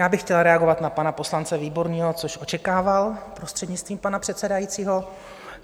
Já bych chtěla reagovat na pana poslance Výborného, což očekával, prostřednictvím pana předsedajícího.